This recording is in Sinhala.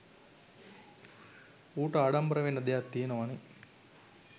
ඌට ආඩම්බර වෙන්න දෙයක් තියනවනේ.